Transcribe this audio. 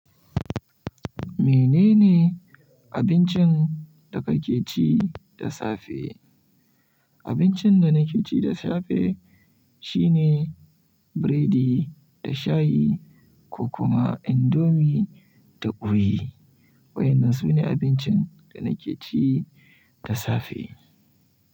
Menene abincin da kake ci da safe? Abincin da nake ci da safe shine biredi da shayi, ko kuma indomi da ƙoyi. Waɗannan su ne abincin da nake ci da safe.